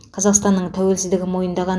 қазақстанның тәуелсіздігін мойындаған